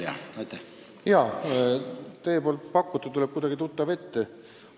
Jaa, teie ettepanek tuleb kuidagi tuttav ette.